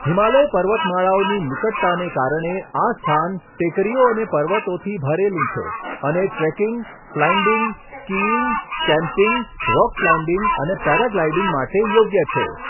હિમાલય પર્વતમાળાઓની નિકટતાને કારણે, આ સ્થાન ટેકરીઓ અને પર્વતોથી ભરેલું છે અને trekking, climbing, skiing, camping, rock climbing અને પેરાગ્લાઇડિંગ માટે યોગ્ય છે.